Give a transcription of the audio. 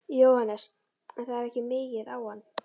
Jóhannes: En það er ekki migið á hann?